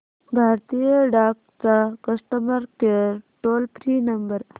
भारतीय डाक चा customer care toll free number